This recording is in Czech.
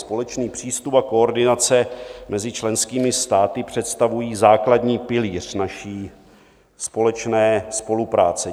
Společný přístup a koordinace mezi členskými státy představují základní pilíř naší společné spolupráce.